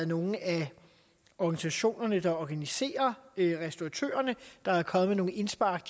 nogle af organisationerne der organiserer restauratørerne der er kommet med nogle indspark